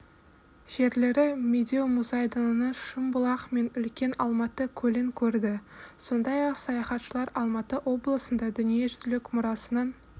жерлері медеу мұзайдынын шымбұлақ мен үлкен алматы көлін көрді сондай-ақ саяхатшылар алматы облысында дүниежүзілік мұрасының